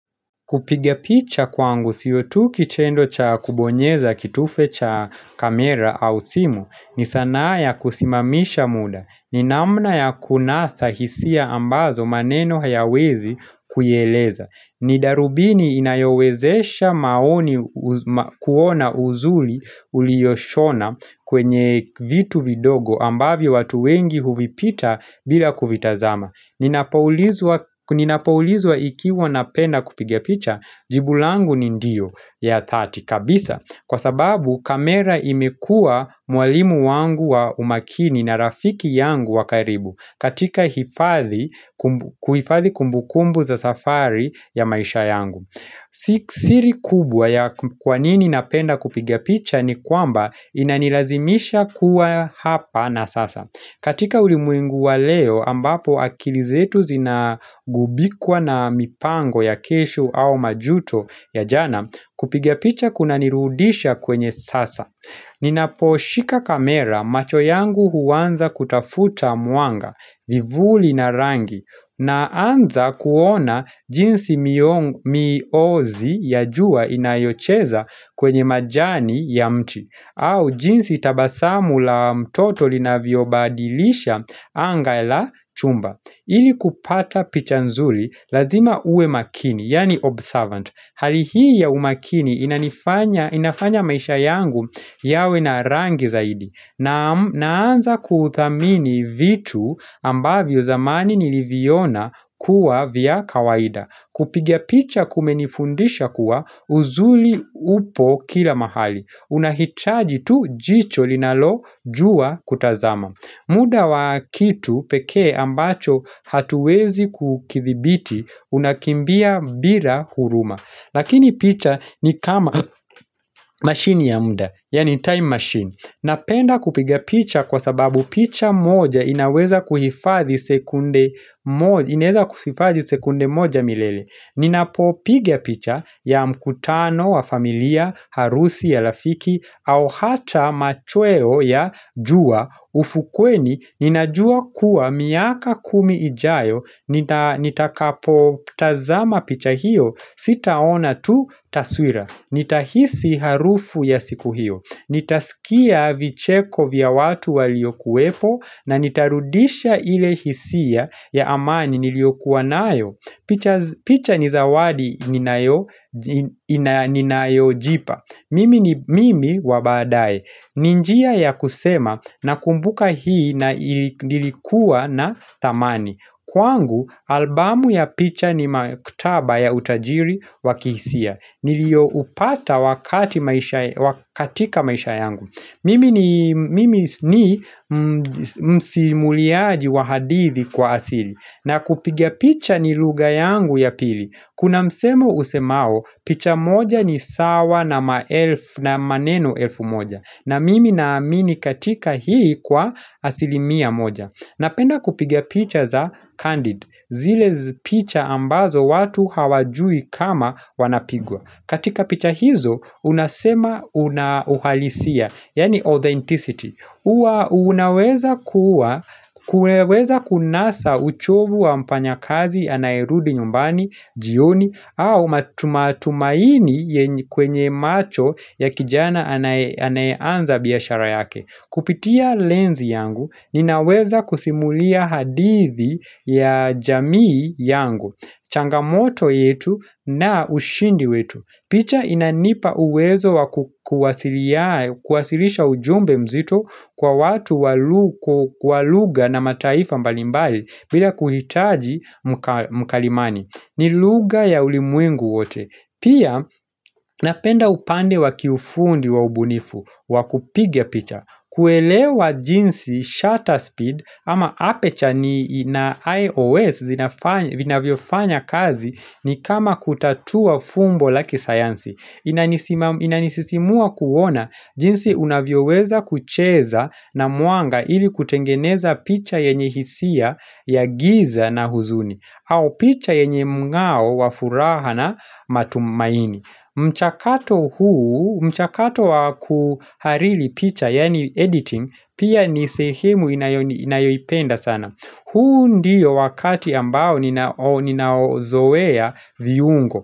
Kupigapicha kwangu siyotu kichendo cha kubonyeza kitufe cha kamera au simu ni sana ya kusimamisha muda. Ni namna ya kunasa hisia ambazo maneno hayawezi kuieleza. Nidarubini inayowezesha maoni kuona uzuli uliyoshona kwenye vitu vidogo ambavyo watu wengi huvipita bila kuvitazama. Ninapoulizwa ikiwa napenda kupigia.picha jibulangu ni ndio ya thati kabisa Kwa sababu kamera imekua mwalimu wangu wa umakini na rafiki yangu wa karibu katika hifadhi kumbu kumbu za safari ya maisha yangu siri kubwa ya kwanini napenda kupigia picha ni kwamba inanilazimisha kuwa hapa na sasa katika ulimwengu wa leo ambapo akilizetu zinagubikwa na mipango ya kesho au majuto ya jana kupiga picha kuna nirudisha kwenye sasa. Ninapo shika kamera macho yangu huwanza kutafuta muanga vivuli na rangi na anza kuona jinsi miozi ya jua inayocheza kwenye majani ya mti. Au jinsi tabasamu la mtoto lina viobadilisha anga la chumba Ili kupata pichanzuli lazima uwe makini, yani observant Halihi ya umakini inafanya maisha yangu yawe na rangi zaidi Naanza kuthamini vitu ambavyo zamani niliviona kuwa vya kawaida Kupiga picha kumenifundisha kuwa uzuli upo kila mahali unahitaji tu jicho linalo juwa kutazama muda wa kitu peke ambacho hatuwezi kukithibiti Unakimbia bila huruma Lakini picha ni kama machine ya mda Yani time machine Napenda kupiga picha kwa sababu picha moja inaweza kuhifadhi sekunde moja sekunde moja milele Ninapo pigia picha ya mkutano wa familia harusi ya rafiki au hata machweo ya jua ufukweni ninajua kuwa miaka kumi ijayo Nitakapo tazama picha hiyo Sitaona tu taswira Nitahisi harufu ya siku hiyo Nitaskia vicheko vya watu waliokuwepo na nitarudisha ile hisia ya amani niliokuwa nayo picha ni zawadi ninayo jipa Mimi ni mimi wabadae Ninjia ya kusema na kumbuka hii na ilikuwa na thamani Kwangu, albumu ya picha ni makutaba ya utajiri wakihisia nilio upata wakatika maisha yangu Mimi ni msimuliaji wahadithi kwa asili na kupigia picha ni lugha yangu ya pili. Kuna msemo usemao picha moja ni sawa na maneno elfu moja. Na mimi na amini katika hii kwa asilimia moja. Napenda kupiga picha za candid. Zile picha ambazo watu hawajui kama wanapigwa. Katika picha hizo unasema unauhalisia, yani authenticity Unaweza kuwa, kuweweza kunasa uchovu wa mfanys kazi anaerudi nyumbani, jioni au matumatumaini kwenye macho ya kijana anaeanza biashara yake Kupitia lens yangu, ninaweza kusimulia hadithi ya jamii yangu Changamoto yetu na ushindi wetu picha inanipa uwezo wakukuwasilisha ujumbe mzito kwa watu walugha na mataifa mbalimbali bila kuhitaji mkalimani ni lugha ya ulimwengu wote Pia napenda upande wakiufundi wa ubunifu wakupiga picha kuelewa jinsi shutter speed ama aperture na IOS zinafanya kazi ni kama kutatua fumbo la kisayansi Inanisisimua kuona jinsi unavyo weza kucheza na muanga ili kutengeneza picha yenye hisia ya giza na huzuni au picha yenye ngao wafuraha na matumaini mchakato huu, mchakato wakuharili picha, yani editing, pia nisehemu inayopenda sana. Huu ndiyo wakati ambao ninaozoea viungo.